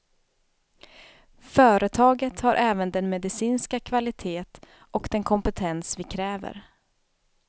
Företaget har även den medicinska kvalitet och den kompetens vi kräver.